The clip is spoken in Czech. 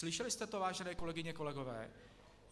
Slyšeli jste to, vážené kolegyně, kolegové.